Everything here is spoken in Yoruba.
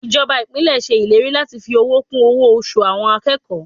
Ìjọba Ìpínlẹ̀ ṣe ìlérí láti fi owó kún owó oṣù àwọn akẹ́kọ̀ọ́.